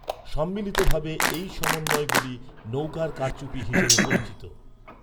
সম্মিলিতভাবে এই সমন্বয়গুলি নৌকার কারচুপি হিসাবে পরিচিত।